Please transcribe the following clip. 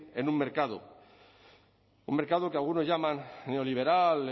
en un mercado un mercado que algunos llaman neoliberal